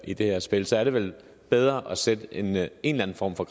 i det her spil så er det vel bedre at sætte en eller en form for